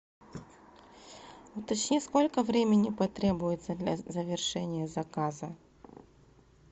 уточни сколько времени потребуется для завершения заказа